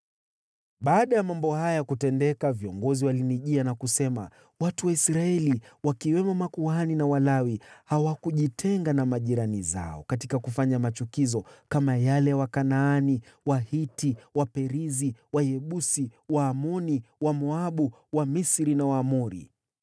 Baada ya mambo haya kutendeka, viongozi walinijia na kusema, “Watu wa Israeli, wakiwemo makuhani na Walawi, hawakujitenga na majirani zao katika kufanya machukizo, kama yale ya Wakanaani, Wahiti, Waperizi, Wayebusi, Waamoni, Wamoabu, Wamisri na Waamori.